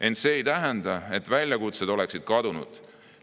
Ent see ei tähenda, et väljakutsed oleksid kadunud.